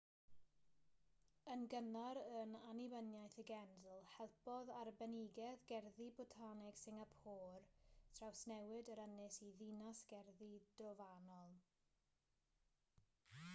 yn gynnar yn annibyniaeth y genedl helpodd arbenigedd gerddi botaneg singapôr drawsnewid yr ynys i ddinas gerddi drofannol